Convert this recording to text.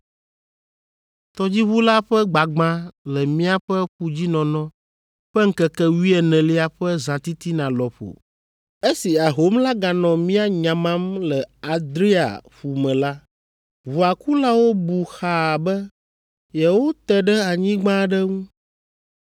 Tɔdziʋu la ƒe gbagbã le míaƒe ƒudzinɔnɔ ƒe ŋkeke wuienelia ƒe zãtitina lɔƒo, esi ahom la ganɔ mía nyamam le Adria ƒu me la, ʋua kulawo bu xaa be yewote ɖe anyigba aɖe ŋu.